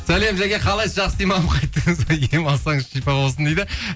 сәлем жәке қалайсыз жақсы демалып қайттыңыз ба ем алсаңыз шипа болсын дейді